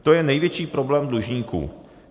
To je největší problém dlužníků.